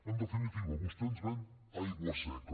en definitiva vostè ens ven aigua seca